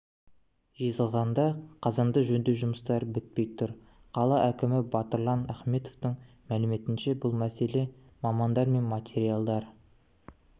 жезқазғанда қазанды жөндеу жұмыстары бітпей тұр қала әкімі батырлан ахметовтың мәліметінше бұл мәселе мамандар мен материалдар